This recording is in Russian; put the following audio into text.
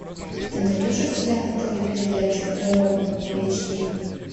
ты найдешь у себя на тв передачу дорама эйч ди